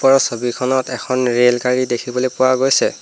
উক্ত ছবিখনত এখন ৰেলগাড়ী দেখিবলৈ পোৱা গৈছে।